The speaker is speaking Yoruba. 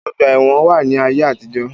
Ọgbà ẹ̀wọn wà ní ayé àtijó.